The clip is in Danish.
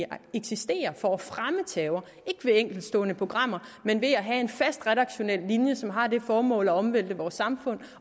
eksisterer for at fremme terror ikke ved enkeltstående programmer men ved at have en fast redaktionel linje som har det formål at omvælte vores samfund